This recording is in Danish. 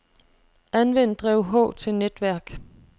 Anvend drev H til netværk.